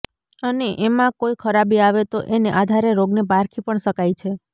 અને એમાં કોઇ ખરાબી આવે તો એને આધારે રોગને પારખી પણ શકાય છે